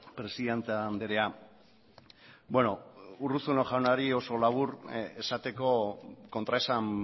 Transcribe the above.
presidente andrea urruzuno jaunari oso labur esateko kontraesan